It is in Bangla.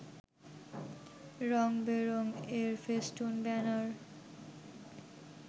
রং-বেরং এর ফেস্টুন-ব্যানার